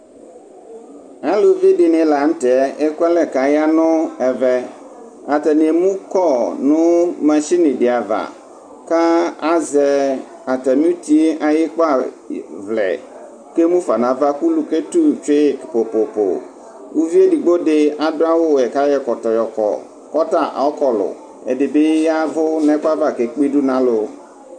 Aluvi dɩnɩ la nʋ tɛ ekʋalɛ kʋ aya nʋ ɛvɛ Atani emukɔ nʋ masini dɩ ava, kʋ azɛ atami uti yɛ ayʋ ikpavlɛ, kʋ emufa nʋ ava, kʋ ʋlʋ ketu tsʋe yi pʋpʋpʋ Uvi edigbo dɩ adu awuwɛ kʋ ayɔ ɛkɔtɔ yɔkɔ, kʋ ɔta ɔkɔlʋ Ɛdɩ bɩ yavʋ nʋ ɛkʋ yɛ ava, kʋ ekpe idu nʋ alu